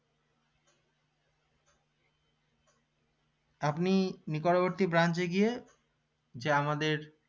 আপনি নিকটবর্তী branch এ গিয়ে যে আমাদের